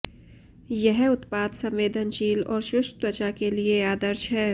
यह उत्पाद संवेदनशील और शुष्क त्वचा के लिए आदर्श है